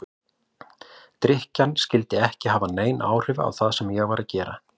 Drykkjan skyldi ekki hafa nein áhrif á það sem ég var að gera.